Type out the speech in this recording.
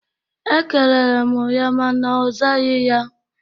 Ekelere m ya mana ọ zaghị ya